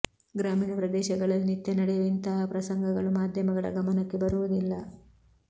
ಗ್ರಾಮೀಣ ಪ್ರದೇಶಗಳಲ್ಲಿ ನಿತ್ಯ ನಡೆಯುವ ಇಂತಹ ಪ್ರಸಂಗಗಳು ಮಾಧ್ಯಮಗಳ ಗಮನಕ್ಕೆ ಬರುವುದಿಲ್ಲ